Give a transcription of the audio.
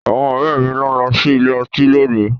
Àwọn ọ̀rẹ́ mi ló ń lọ sí ọ́fíìsì.